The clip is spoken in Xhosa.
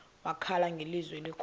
wakhala ngelizwi elikhulu